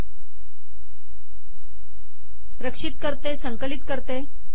3 रक्षित करते संकलित करते